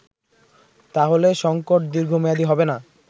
তাহলে সংকট দীর্ঘমেয়াদী হবেনা